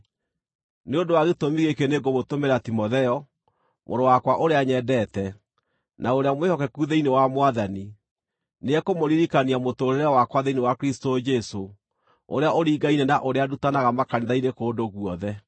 Nĩ ũndũ wa gĩtũmi gĩkĩ nĩngũmũtũmĩra Timotheo, mũrũ wakwa ũrĩa nyendete, na ũrĩa mwĩhokeku thĩinĩ wa Mwathani. Nĩekũmũririkania mũtũũrĩre wakwa thĩinĩ wa Kristũ Jesũ, ũrĩa ũringaine na ũrĩa ndutanaga makanitha-inĩ kũndũ guothe.